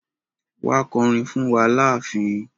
Wa kọ'rin fún wa láàfin.